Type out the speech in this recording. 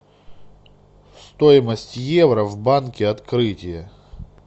стоимость евро в банке открытие